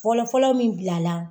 Fɔlɔfɔlɔ min bila la